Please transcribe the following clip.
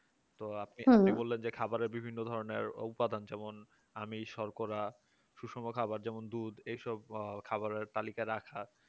তো আপনি বললেন যে খাবারের বিভিন্ন ধরনের উপাদান যেমন আমিষ শর্করা সুষম খাবার যেমন দুধ এই সব খাবারের তালিকা রাখা